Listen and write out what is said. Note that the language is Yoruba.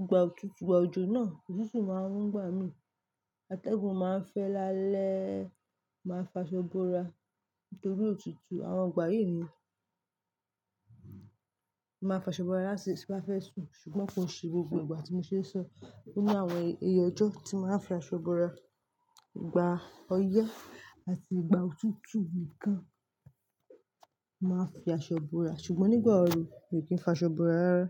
ìgbà òtútù, ìgbà òjò náà òtútù máa ń gbà mí, atẹ́gùn máa ń fẹ́ lálẹ́, màá fa aṣọ borà nítorí òtútù. Àwọn ìgbà yìí ni màá fa aṣọ búrà lásìkò tí mo bá fẹ́ sùn ṣùgbọ́n kò ń ṣe gbogbo ìgbà tí mo ṣe ń sọ. Ó ní àwọn iye ọjọ́ tí n màá ń fi aṣọ búrà, ìgbà ọyẹ́ àti ìgbà òtútù nìkan màá fi aṣọ borà ṣùgbọ́n nígbà ooru mi ò kí ń fa aṣọ borà rárá.